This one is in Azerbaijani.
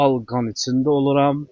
Al qan içində oluram.